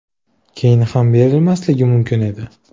Keyin ham berilmasligi mumkin edi.